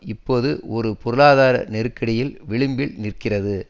இப்பொழுது ஒரு பொருளாதார நெருக்கடியில் விளிம்பில் நிற்கிறது